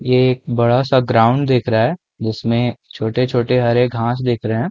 ये एक बड़ा सा ग्राउंड दिख रहा है जिसमे छोटे-छोटे हरे घास दिख रहे हैं।